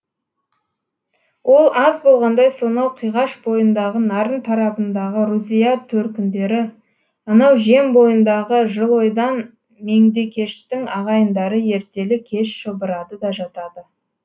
ол аз болғандай сонау қиғаш бойындағы нарын тарабындағы рузия төркіндері анау жем бойындағы жылойдан меңдекештің ағайындары ертелі кеш шұбырады да жатады